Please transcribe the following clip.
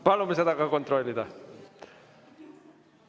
Palume seda ka kontrollida.